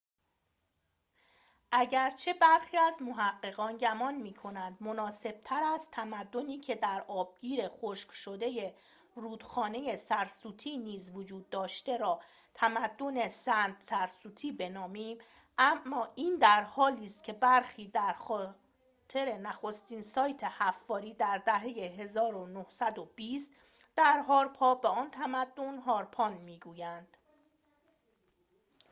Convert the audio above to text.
اگرچه برخی از محققان گمان می‌کنند مناسب‌تر است تمدنی که در آبگیر خشک شده رودخانه سرسوتی نیز وجود داشته را تمدن دره سند-سرسوتی بنامیم این درحالیست‌که برخی به خاطر نخستین سایت حفاری در دهه ۱۹۲۰ در هاراپا به آن تمدن هارپان می‌گویند